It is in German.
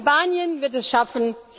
Albanien wird es schaffen.